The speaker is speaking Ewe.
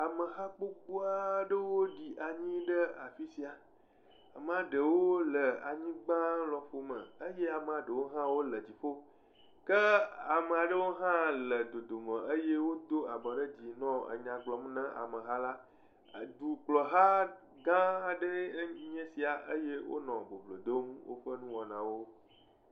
Ameha gbogbo aɖewo ɖi anyi ɖe afisia. Amea ɖewo le anyigba lɔƒo me eye amea ɖewo hã wole dziƒo, ke ame aɖewo hã le dodome eye wodo abɔ ɖe dzi nɔ nya gblɔm ne ameha la. Dukplɔla gã aɖee nye ya eye wonɔ boblo dom woƒe nuwɔana wo.